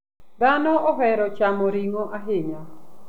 Dhano ohero chamo ring'o ahinya.